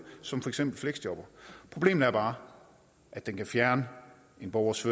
som for eksempel fleksjobber problemet er bare at den kan fjerne en borgers